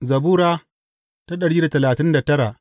Zabura Sura dari da talatin da tara